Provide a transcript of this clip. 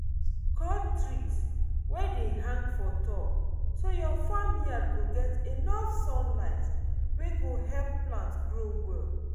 cut tree wey dey hang for top so your farm yard go get enough sunlight wey go help plants grow well